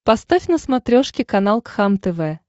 поставь на смотрешке канал кхлм тв